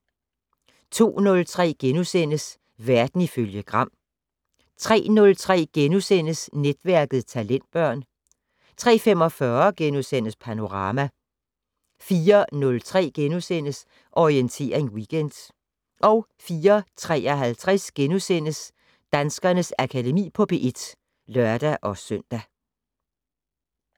02:03: Verden ifølge Gram * 03:03: Netværket: Talentbørn * 03:45: Panorama * 04:03: Orientering Weekend * 04:53: Danskernes Akademi på P1 *(lør-søn)